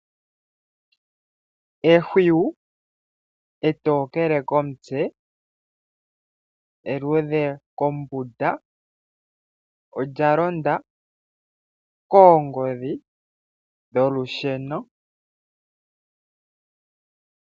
Ehwiyu etokele komutse, eluudhe kombunda, olya londa koongodhi dholusheno.